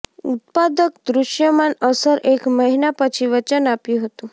ઉત્પાદક દૃશ્યમાન અસર એક મહિના પછી વચન આપ્યું હતું